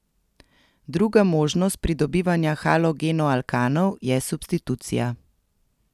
Druga možnost pridobivanja halogenoalkanov je substitucija.